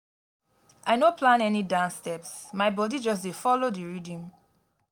i no plan any dance steps my bodi just dey folo di rhythm.